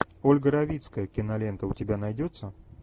ольга равицкая кинолента у тебя найдется